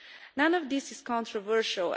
None of this is controversial.